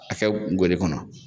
A kɛ gele kɔnɔ